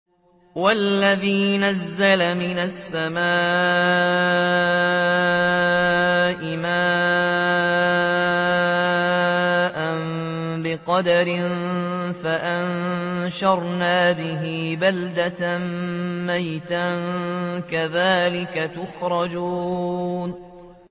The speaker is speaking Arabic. وَالَّذِي نَزَّلَ مِنَ السَّمَاءِ مَاءً بِقَدَرٍ فَأَنشَرْنَا بِهِ بَلْدَةً مَّيْتًا ۚ كَذَٰلِكَ تُخْرَجُونَ